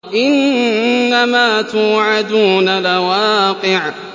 إِنَّمَا تُوعَدُونَ لَوَاقِعٌ